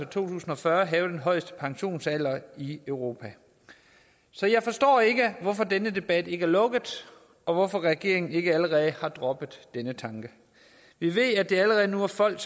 to tusind og fyrre have den højeste pensionsalder i europa så jeg forstår ikke hvorfor denne debat ikke er lukket og hvorfor regeringen ikke allerede har droppet den tanke vi ved at der allerede nu er folk